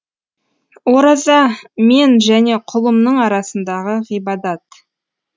ораза мен және құлымның арасындағы ғибадат